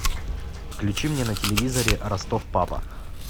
включи мне на телевизоре ростов папа